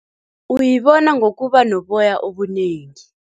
Uyibona ngokuba noboya obunengi.